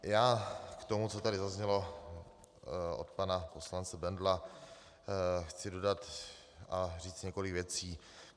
Já k tomu, co tady zaznělo od pana poslance Bendla, chci dodat a říct několik věcí.